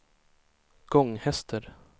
Gånghester